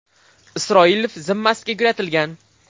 Isroilov zimmasiga yuklatilgan.